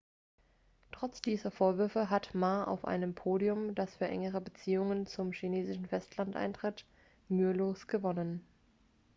trotz dieser vorwürfe hat ma auf einem podium das für engere beziehungen zum chinesischen festland eintritt mühelos gewonnen.x